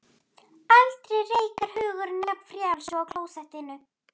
Aldrei reikar hugurinn jafn frjáls og á klósettinu.